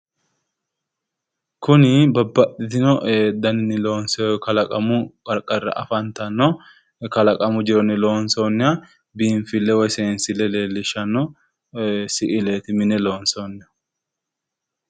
Kuni babbaxxitino ee daninni loonsoy kalaqamu qarqarira afantanno kalaqamu jironni loonsoonniha biinfille woyi seensille leellishshanno si'ileti woy mine loonsoonniha